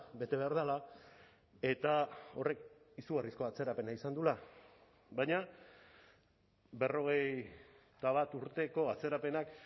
bete behar dela eta horrek izugarrizko atzerapena izan duela baina berrogeita bat urteko atzerapenak